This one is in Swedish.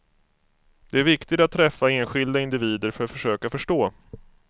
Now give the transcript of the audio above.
Det är viktigt att träffa enskilda individer för att försöka förstå.